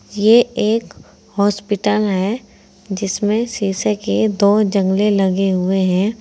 ये एक हॉस्पिटल है जिसमें शीशे के दो लगे हुए हैं।